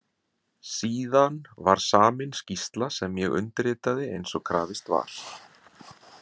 Síðan var samin skýrsla sem ég undirritaði eins og krafist var.